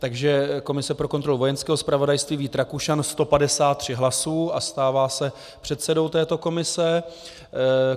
Takže komise pro kontrolu Vojenského zpravodajství, Vít Rakušan 153 hlasů a stává se předsedou této komise.